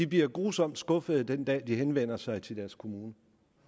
bliver grusomt skuffet den dag de henvender sig til deres kommune